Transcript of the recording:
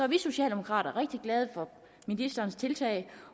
vi socialdemokrater rigtig glade for ministerens tiltag